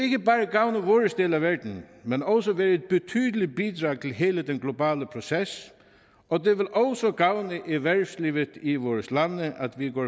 gavne vores del af verden men også være et betydeligt bidrag til hele den globale proces og det vil også gavne erhvervslivet i vores lande at vi går